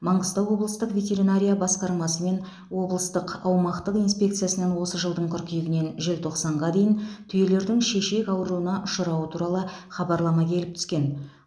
маңғыстау облыстық ветеринария басқармасы мен облыстық аумақтық инспекциясынан осы жылдың қыркүйегінен желтоқсанға дейін түйелердің шешек ауруына ұшырауы туралы хабарлама келіп түскен